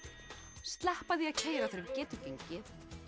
sleppa því að keyra þegar við getum gengið